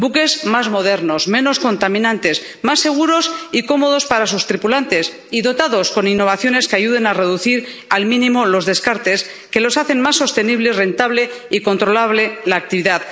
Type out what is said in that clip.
Buques más modernos, menos contaminantes, más seguros y cómodos para sus tripulantes y dotados de innovaciones que ayuden a reducir al mínimo los descartes, que hagan más sostenible y rentable y controlable la actividad.